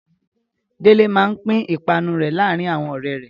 Délé máa pín ìpanu rẹ̀ láàárin àwọn ọ̀rẹ́ rẹ̀.